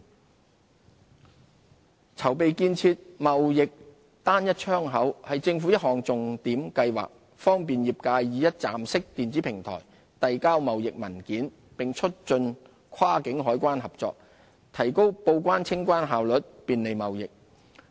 貿易單一窗口籌備建設"貿易單一窗口"是政府一項重點計劃，方便業界以一站式電子平台遞交貿易文件，並促進跨境海關合作，提高報關、清關效率，便利貿易。